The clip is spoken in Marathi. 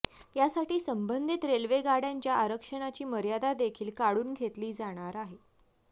यासाठी संबंधित रेल्वे गाड्यांच्या आरक्षणाची मर्यादा देखील काढून घेतली जाणार आहे